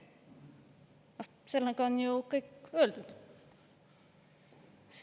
No sellega on ju kõik öeldud.